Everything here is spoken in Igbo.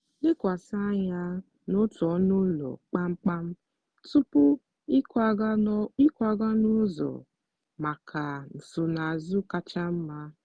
lekwasị anya n'otu ọnụ ụlọ kpamkpam tupu ịkwaga n'ọzọ maka nsonaazụ kacha mma.